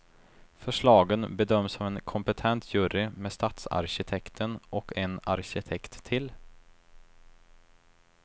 Förslagen bedöms av en kompetent jury med stadsarkitekten och en arkitekt till.